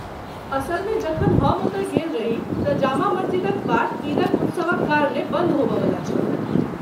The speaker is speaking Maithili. असलमे, जखन हम ओतऽ गेल रही तँ जामा मस्जिदक बाट ईदक उत्सवक कारणेँ बन्द होबयवला छल।